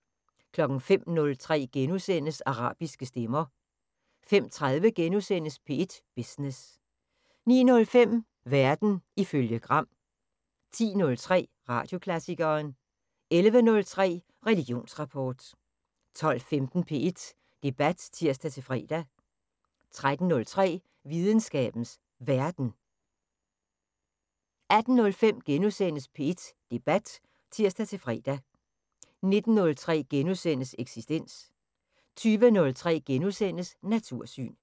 05:03: Arabiske stemmer * 05:30: P1 Business * 09:05: Verden ifølge Gram 10:03: Radioklassikeren 11:03: Religionsrapport 12:15: P1 Debat (tir-fre) 13:03: Videnskabens Verden 18:05: P1 Debat *(tir-fre) 19:03: Eksistens * 20:03: Natursyn *